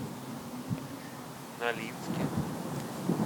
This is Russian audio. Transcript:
нолинске